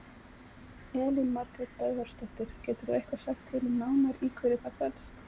Elín Margrét Böðvarsdóttir: Getur þú eitthvað sagt til um nánar í hverju það felst?